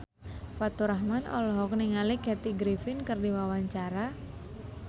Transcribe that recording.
Faturrahman olohok ningali Kathy Griffin keur diwawancara